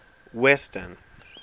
western